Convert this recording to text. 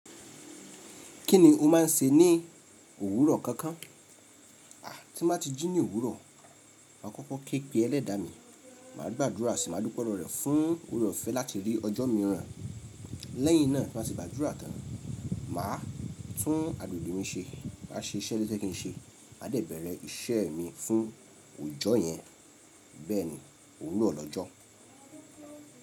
Kí ni o máà n ṣe ní òwúrọ̀ kankan? À, tí má ti jí ní òwúrọ̀, máa kọ́kọ́ ké pe ẹlẹ́dàá mi, máa gbàdúrà sì máa dúpẹ́ lọ̀rọ̀ rẹ̀ fún òrè ọ̀fẹ́ láti rí ọjọ́ mìíràn. Lẹ́yìn náà, máa sì gbàdúrà tán. Màá tún agbègbè mi ṣe, máa ṣe iṣẹ́ tójékìí ṣe, máa dẹ̀ bẹ̀rẹ̀ iṣẹ́ mi fún òjọ́ yẹn. Bẹ́ẹ̀ ni, òwúrọ̀ lọ́jọ́.